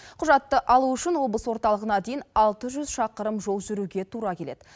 құжатты алу үшін облыс орталығына дейін алты жүз шақырым жол жүруге тура келеді